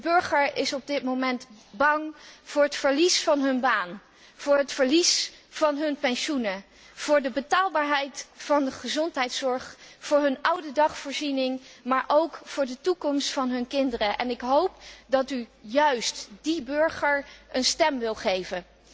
De burgers zijn momenteel bang voor het verlies van hun baan, voor het verlies van hun pensioen, voor de betaalbaarheid van de gezondheidszorg, voor hun oudedagvoorziening, maar ook voor de toekomst van hun kinderen. Ik hoop dat u juist die burgers een stem wil geven.